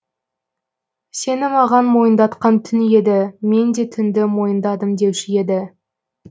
сені маған мойындатқан түн еді мен де түнді мойындадым деуші еді